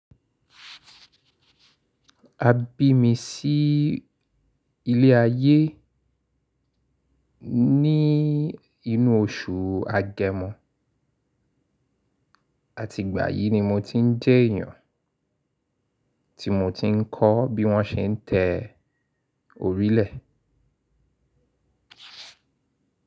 A bí mi sí ilé ayé ní inú oṣù Agemo. Àti ìgbà yí ni mo ti ń jẹ èyàn, tí mo ti ń kọ́ bí wọn ṣe ń te orile.